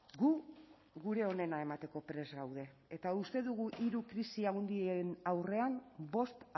gu gure onena emateko prest gaude eta uste dugu hiru krisi handien aurrean bost